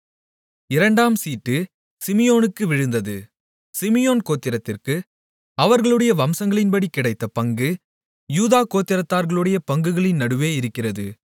இரண்டாம் சீட்டு சிமியோனுக்கு விழுந்தது சிமியோன் கோத்திரத்திற்கு அவர்களுடைய வம்சங்களின்படி கிடைத்த பங்கு யூதா கோத்திரத்தார்களுடைய பங்குகளின் நடுவே இருக்கிறது